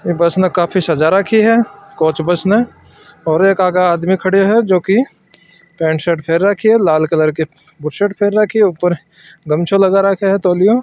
बस न काफी सजा राखी है कोच बस ने और एक आगा आदमी खड़े है जो की पैट शर्ट पेहेन राखी है लाल कलर के शर्ट पहन राखी है ऊपर गमछों लगा राखो है तौलियो --